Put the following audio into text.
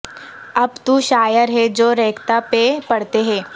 اب تو شاعر ہیں جو ریختہ پہ پڑھتے ہیں